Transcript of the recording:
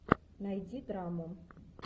найди драму